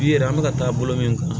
U yɛrɛ an bɛ ka taa bolo min kan